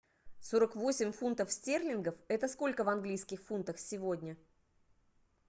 сорок восемь фунтов стерлингов это сколько в английских фунтах сегодня